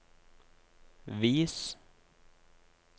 vis